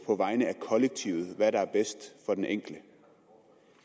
på vegne af kollektivet vælge hvad der er bedst for den enkelte